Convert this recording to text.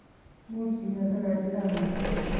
Much kimeto karitab mat